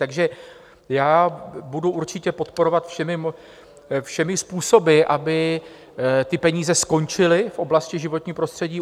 Takže já budu určitě podporovat všemi způsoby, aby ty peníze skončily v oblasti životního prostředí.